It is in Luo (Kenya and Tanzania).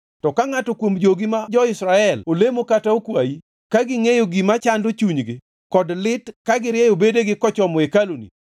to ka ngʼato kuom jogi ma jo-Israel olemo kata okwayi, ka gingʼeyo gima chando chunygi kod lit ka girieyo bedegi kochomo hekaluni,